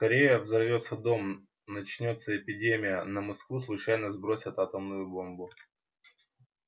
скорее взорвётся дом начнётся эпидемия на москву случайно сбросят атомную бомбу